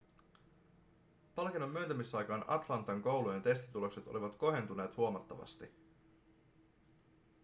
palkinnon myöntämisaikaan atlantan koulujen testitulokset olivat kohentuneet huomattavasti